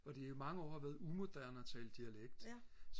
og det jo i mange år har været umoderne og tale dialekt